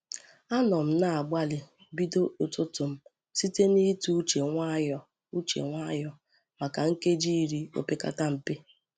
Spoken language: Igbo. Anọ m na-agbalị bido ụtụtụ m site n’ịtụ uche nwayọọ uche nwayọọ maka nkeji iri opekata mpe.